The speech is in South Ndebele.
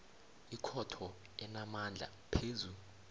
ikhotho enamandla phezu